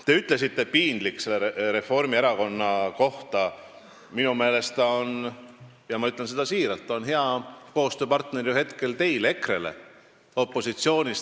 Te ütlesite "piinlik" Reformierakonna kohta, kes on minu meelest praegu teile opositsioonis – ja ma ütlen seda siiralt – hea koostööpartner.